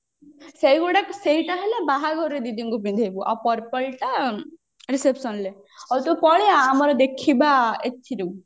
ସେଇଗୁଡାକ ସେଇଟା ହେଲା ବାହାଘରରେ ଦିଦିଙ୍କୁ ପିନ୍ଧେଇବୁ ଆଉ purple ଟା reception ରେ ଆଉ ତୁ ପଳେଇଆ ଆମର ଦେଖିବା ଏଥିରୁ